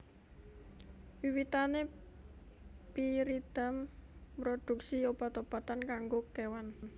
Wiwitané Pyridam mroduksi obat obatan kanggo kewan